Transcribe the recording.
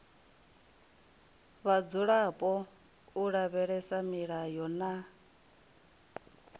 vhadzulapo u lavhelesa milayo na